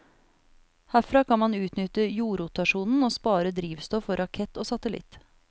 Herfra kan man utnytte jordrotasjonen og spare drivstoff for rakett og satellitt.